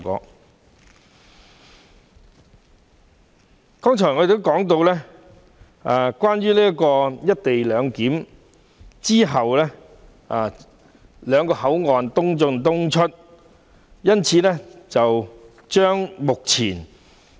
我剛才曾提及，"一地兩檢"有助促成兩地口岸的"東進東出、西進西出"。